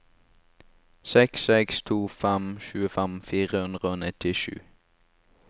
seks seks to fem tjuefem fire hundre og nittisju